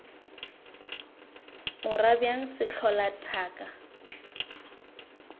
o ra bjang sehlola thaka